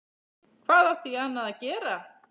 Hvað átti ég annað að gera?